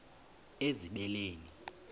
ezibeleni